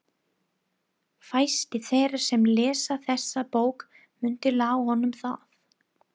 Fæstir þeirra sem lesa þessa bók munu lá honum það.